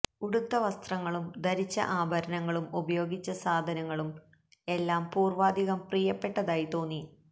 ഉടുത്ത വസ്ത്രങ്ങളും ധരിച്ച ആഭരണങ്ങളും ഉപയോഗിച്ച സാധനങ്ങളും എല്ലാം പൂര്വ്വാധികം പ്രിയപ്പെട്ടതായി തോന്നി